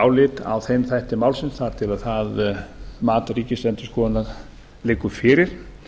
álit á þeim þætti málsins þar til það mat ríkisendurskoðunar liggur fyrir